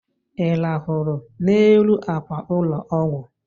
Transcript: Ị rahụrụ n'elu akwa ụlọ ọgwụ?